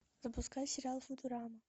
запускай сериал футурама